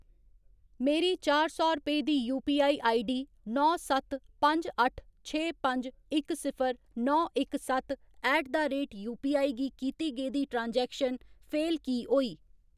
मेरी चार सौ रपेऽ दी यूपीआई आईडी नौ सत्त पंज अट्ठ छे पंज इक सिफर नौ इक सत्त ऐट द रेट यूपीआई गी कीती गेदी ट्रांजैक्शन फेल की होई?